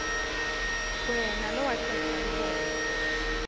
wena lowacedza lubombo